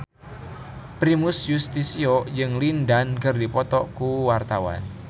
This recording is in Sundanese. Primus Yustisio jeung Lin Dan keur dipoto ku wartawan